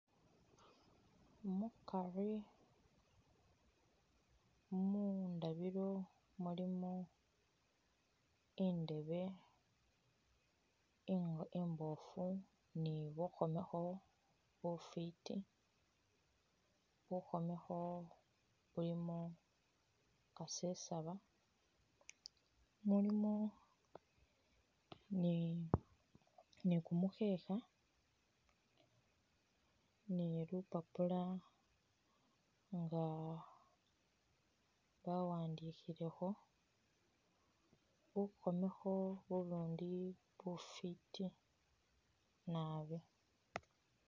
Mukari mundabiro mulimo indeebe imbofu ni bukhomekho bufiti, bukhomekho bulimo kaseesaba mulimo ni kumukhekha ni lupapula nga bawandikhilekho bukhomekho ubundi bufiti nabi.